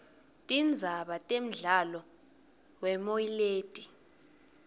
tindzaba temdlalowemoy leti